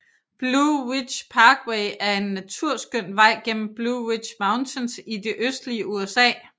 Blue Ridge Parkway er en naturskøn vej gennem Blue Ridge Mountains i det østlige USA